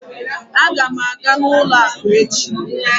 Aga m aga n'ụlọ akụ echi